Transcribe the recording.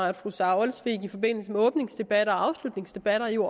at fru sara olsvig i forbindelse med åbningsdebatter og afslutningsdebatter jo